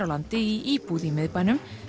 landi í íbúð í miðbænum